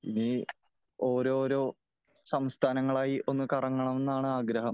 ഇനി ഓരോരോ സംസ്ഥാനങ്ങളായി ഒന്ന് കറങ്ങണമെന്നാണ് ആഗ്രഹം .